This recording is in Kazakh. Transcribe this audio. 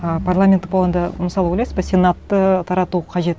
а парламенттік болғанда мысалы ойлайсыз ба сенатты тарату қажет